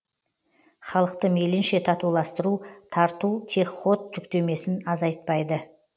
халықты мейлінше татуластыру тарту тек ход жүктемесін азайтпайды